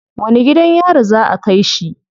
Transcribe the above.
Wani gidan yari za a kai shi?